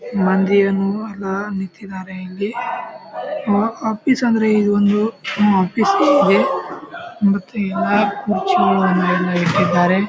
ಮಂದಿಯನು ಅಲಾ ನಿಂತಿದ್ದಾರೆ ಇಲ್ಲಿ ಆಹ್ ಆಫೀಸ್ ಅಂದ್ರೆ ಇದು ಒಂದು ಉಹ್ ಆಫೀಸ್ ಇದೆ ಮತ್ತೆ ಎಲ್ಲಾ ಕುರ್ಚಿಗಳು ಅಲ್ಲೆಲ್ಲಾ ಇಟ್ಟಿದ್ದಾರೆ .